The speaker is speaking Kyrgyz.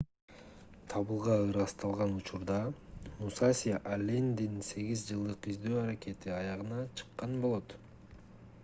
табылга ырасталган учурда мусаси аллендин сегиз жылдык издөө аракети аягына чыккан болот